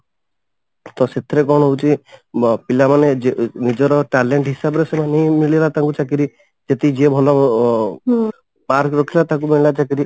ତ ସେଥିରେ କଣ ହଉଛି ମ ପିଲାମାନେ ନିଜର talent ହିସାବରେ ସେମାନେ ମିଳିଗଲା ତାଙ୍କୁ ଚାକିରି ସେତିକି ଯିଏ ଭଲ mark ରଖିଲା ତାକୁ ମିଳିଲା ଚାକିରି